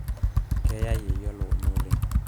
keya yeyio elukunya oleng